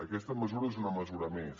aquesta mesura és una mesura més